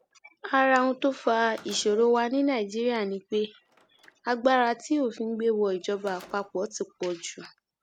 ara ohun tó fa ìṣòro wa ní nàìjíríà ni pé agbára tí òfin gbé wọ ìjọba àpapọ ti pọ jù